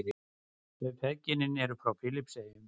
Þau feðginin eru frá Filippseyjum.